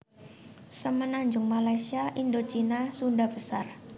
Semenanjung Malaysia Indocina Sunda besar